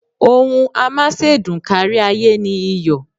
Ohun amásèdùn kárí-ayé ni iyọ̀.